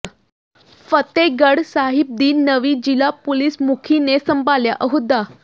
ਫਤਹਿਗੜ੍ਹ ਸਾਹਿਬ ਦੀ ਨਵੀਂ ਜਿਲ੍ਹਾ ਪੁਲਿਸ ਮੁਖੀ ਨੇ ਸੰਭਾਲਿਆ ਅਹੁਦਾ